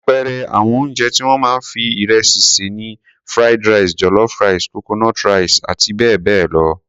Àpẹẹrẹ àwọn oúnjẹ tí wọ́n máa ń fi ìrẹsì sè ni Fried rice, jollof rice, coconut rice àti bẹ́ẹ̀ bẹ́ẹ̀ lọ.